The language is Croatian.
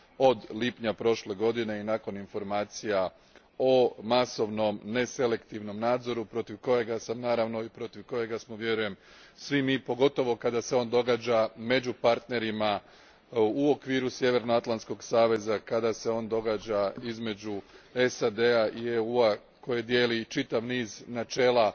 od lipnja prošle godine nakon informacija o masovnom neselektivnom nadzoru protiv kojega sam, naravno, i protiv kojega smo vjerujem svi mi, pogotovo kada se on događa među partnerima u okviru Sjevernoatlantskog saveza, kada se on događa između SAD a i EU a koji dijele čitav niz načela,